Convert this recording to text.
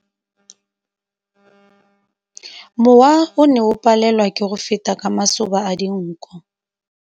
Mowa o ne o palelwa ke go feta ka masoba a dinko.